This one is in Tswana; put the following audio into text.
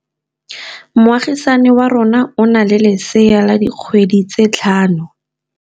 Moagisane wa rona o na le lesea la dikgwedi tse tlhano.